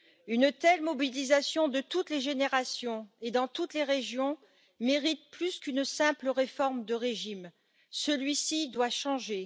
Une telle mobilisation de toutes les générations et dans toutes les régions mérite plus qu'une simple réforme de régime, celui ci doit changer.